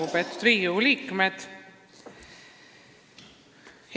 Lugupeetud Riigikogu liikmed!